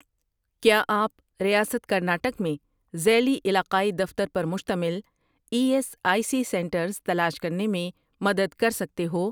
کیا آپ ریاست کرناٹک میں ذیلی علاقائی دفتر پر مشتمل E S I C centres تلاش کرنے میں مدد کر سکتے ہو؟